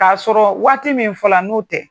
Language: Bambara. K'a sɔrɔ waati min fɔla n'u tɛ.